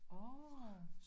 Orh